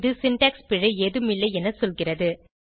இது சின்டாக்ஸ் பிழை ஏதும் இல்லை என சொல்கிறது